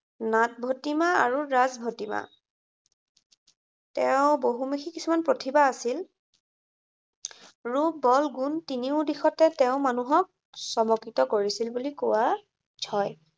নাট ভটিমা আৰু ৰাগ ভটিমা। তেওঁৰ বহুমুখী কিছুমান প্ৰতিভা আছিল। ৰূপ বল গুণ তিনিও দিশতে তেওঁ মানুহক চমকিত কৰিচিল বুলি কোৱা হয়।